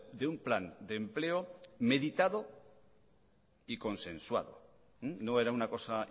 de un plan de empleo meditado y consensuado no era una cosa